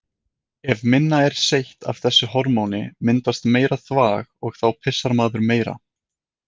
Ef minna er seytt af þessu hormóni myndast meira þvag og þá pissar maður meira.